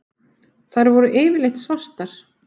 Þær voru yfirleitt svartar.